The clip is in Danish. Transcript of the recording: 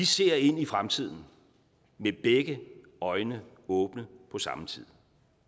ser ind i fremtiden med begge øjne åbne på samme tid